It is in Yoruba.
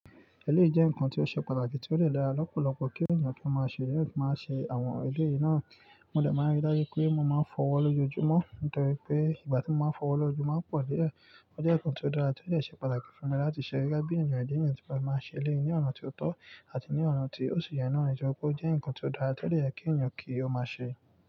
Ẹlẹ́rìí jẹ́ nǹkan tí ó ṣe pàtàkì tí ó dẹ̀ dára lọ́pọ̀lọpọ̀ kí ènìyàn kí ó máa ṣe, kí ènìyàn máa ṣe àwọn eléyìí náà. Mo dẹ̀ máa n rí dájú pé mo máa ń fọwọ́ lójoojúmọ́, nítorí pé ìgbà tí mo máa ń fọwọ́ lójoojúmọ́ máa pọ̀ díẹ̀. Ó jẹ́ nǹkan tí ó dára tí ó dẹ ṣe pàtàkì fún mi láti ṣe gẹ́gẹ́ bí ènìyàn, ìdí nìyẹn tí mo fi màá n ṣe eléyìí ní ọ̀nà tí ó tọ́ àti ní ọ̀nà tí ó sì yẹ náà, íjọ pé ó jẹ́ nǹkan tí ó dára tí ó dara ti o dẹ yẹ kí ènìyàn kí ó máa ṣe.